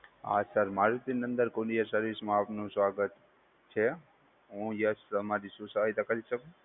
હા, sir Marutinandan courier service માં આપનુ સ્વાગત છે. હુ યશ તમારી શું સહાયતા કરી શકું?